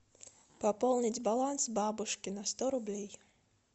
пополнить баланс бабушки на сто рублей